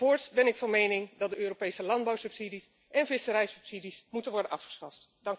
Voorts ben ik van mening dat de Europese landbouwsubsidies en visserijsubsidies moeten worden afgeschaft.